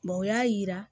o y'a yira